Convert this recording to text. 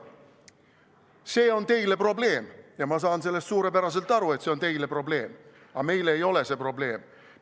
See on teile probleem ja ma saan sellest suurepäraselt aru, et see on teile probleem, aga meile ei ole see probleem.